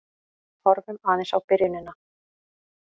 Horfum aðeins á byrjunina.